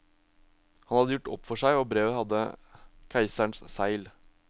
Han hadde gjort opp for seg, og brevet hadde keiserens segl.